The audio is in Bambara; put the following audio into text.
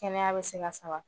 Kɛnɛya bɛ se ka saba